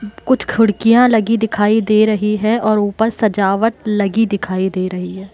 कुछ खिड़कियां लगी दिखाई दे रही है और ऊपर सजावट लगी दिखाई दे रही है।